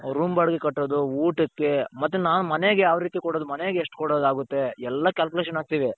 room ಬಾಡಿಗೆ ಕಟ್ಟೋದು ಊಟಕ್ಕೆ ಮತ್ತೆ ನಾನು ಮನೆಗೆ ಯಾವ್ ರೀತಿ ಕೊಡೋದು ಮನೆಗೆ ಎಷ್ಟ್ ಕೊಡೋದಾಗುತ್ತೆ ಎಲ್ಲಾ calculation ಹಾಕ್ತೀವಿ.